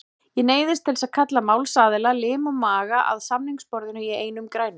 Ég neyðist til að kalla málsaðila, lim og maga, að samningaborðinu í einum grænum.